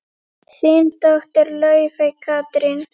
Þín dóttir, Laufey Katrín.